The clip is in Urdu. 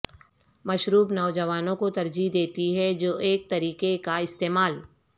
مشروب نوجوانوں کو ترجیح دیتی ہے جو ایک طریقہ کا استعمال